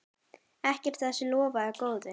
Ekkert af þessu lofaði góðu.